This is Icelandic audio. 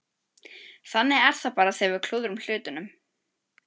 Þannig er það bara þegar við klúðrum hlutunum.